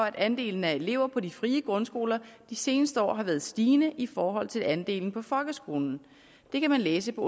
at andelen af elever på de frie grundskoler de seneste år har været stigende i forhold til andelen på folkeskolerne det kan man læse på